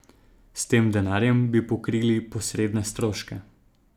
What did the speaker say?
S tem denarjem bi pokrili posredne stroške.